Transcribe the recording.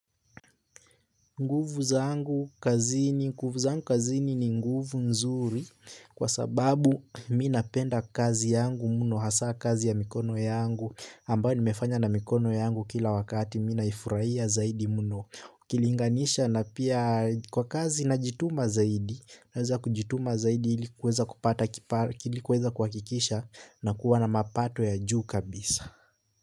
Nguvu zangu kazini, nguvu zangu kazini ni nguvu nzuri kwa sababu mi napenda kazi yangu mno hasa kazi ya mikono yangu ambayo nimefanya na mikono yangu kila wakati mi naifurahia zaidi muno nikilinganisha pia na kazi zaidi mi najiyuma zaidi ili kueza kuhakikisha nakuwa na mapato ya juu kabisa.